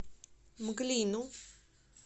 мглину